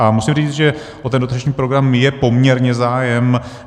A musím říct, že o ten dotační program je poměrně zájem.